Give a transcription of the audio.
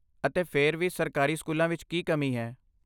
ਅਤੇ ਫਿਰ ਵੀ ਸਰਕਾਰੀ ਸਕੂਲਾਂ ਵਿੱਚ ਕੀ ਕਮੀ ਹੈ?